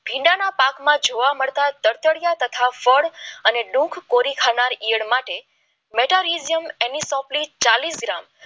ભીંડા ના પાક માં જોવા મળતા તડતરીયા તથા ફળ અને દુઃખ પુરી ખાંડ માટે ચાલીસ ગ્રામ